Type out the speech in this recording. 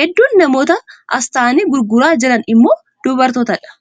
Hedduun namoota as taa'anii gurguraa jiranii immoo dubartootadha.